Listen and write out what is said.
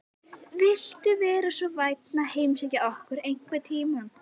Viltu vera svo vænn að heimsækja okkur einhvern tímann?